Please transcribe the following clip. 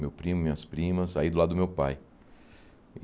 Meu primo, minhas primas, aí do lado do meu pai.